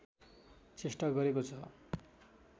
चेष्टा गरेको छ